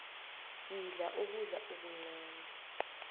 yidla ukudla okuncani